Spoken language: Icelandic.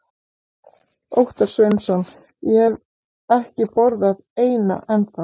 Óttar Sveinsson: Ég hef ekki borðað eina ennþá?